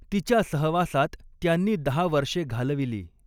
तिच्या सहवासात त्यांनी दहा वर्षे घालविली.